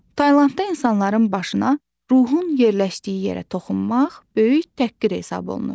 Taylandda insanların başına, ruhun yerləşdiyi yerə toxunmaq böyük təhqir hesab olunur.